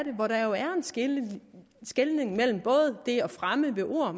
en skelnen mellem det at fremme ved ord og